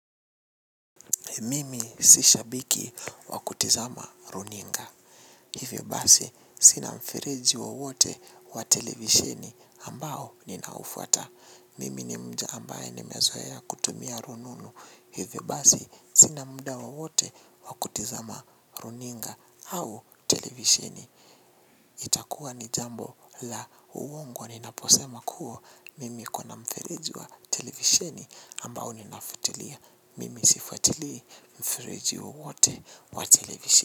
Mimi si shabiki wa kutizama runinga. Hivyo basi, sina mfereji wowote wa televisheni ambao ninaufuata. Mimi ni mja ambaye nimezoea kutumia rununu. Hivyo basi, sina muda wowote wa kutizama runinga au televisheni. Itakuwa ni jambo la uongo ninaposema kuwa mimi kuna mfereji wa televisheni ambao ninafuatilia. Mimi sifuatilii mfereji wowote wa televisheni.